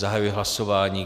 Zahajuji hlasování.